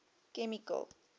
chemical